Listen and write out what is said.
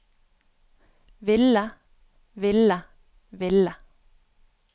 ville ville ville